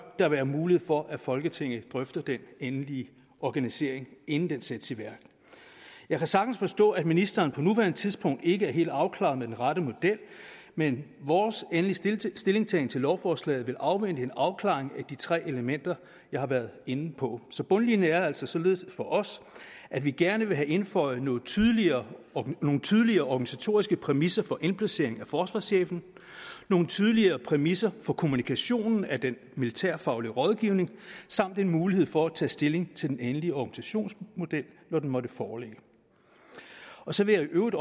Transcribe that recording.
der være mulighed for at folketinget drøfter den endelige organisering inden den sættes i værk jeg kan sagtens forstå at ministeren på nuværende tidspunkt ikke er helt afklaret med den rette model men vores endelige stillingtagen til lovforslaget vil afvente en afklaring af de tre elementer jeg har været inde på så bundlinjen er altså således for os at vi gerne vil have indføjet nogle tydeligere nogle tydeligere organisatoriske præmisser for indplacering af forsvarschefen nogle tydeligere præmisser for kommunikationen af den militærfaglige rådgivning samt en mulighed for at tage stilling til den endelige organisationsmodel når den måtte foreligge så vil jeg i øvrigt